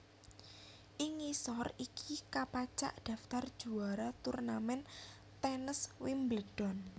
Ing ngisor iki kapacak daftar juwara turnamen tènes Wimbledon